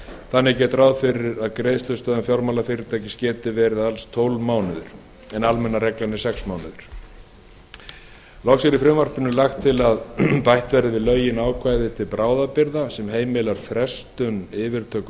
þannig er gert ráð fyrir að greiðslustöðvun fjármálafyrirtækis geti varað í tólf mánuði en almenna reglan er sex mánuðir loks er í frumvarpinu lagt til að bætt verði við lögin ákvæði til bráðabirgða sem heimilar frestun fyrirtöku